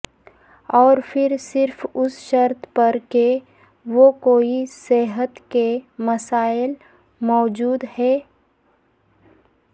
اور پھر صرف اس شرط پر کہ وہ کوئی صحت کے مسائل موجود ہیں